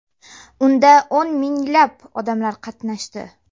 Unda o‘n minglab odamlar qatnashdi.